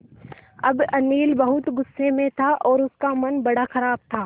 अब अनिल बहुत गु़स्से में था और उसका मन बड़ा ख़राब था